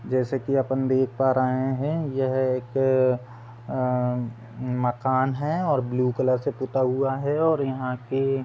जैसे कि अपन देख पा रहे हैं यह एक अ मकान है और ब्लू कलर से पुता हुआ है और यहाँ की --